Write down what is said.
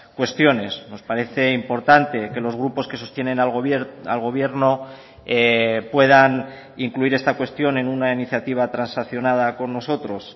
cuestiones nos parece importante que los grupos que sostienen al gobierno puedan incluir esta cuestión en una iniciativa transaccionada con nosotros